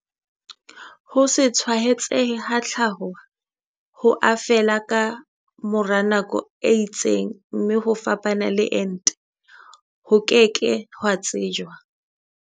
Ho se tshwaetsehe ha tlhaho ho a fela ka mora nako e itseng mme ho fapana le ente, ho ke ke ha tsejwa.